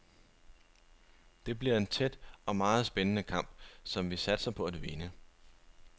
Det bliver en tæt og meget spændende kamp, som vi satser på at vinde.